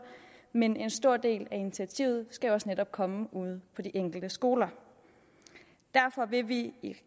men en stor del af initiativet skal også netop komme ude fra de enkelte skoler derfor vil vi i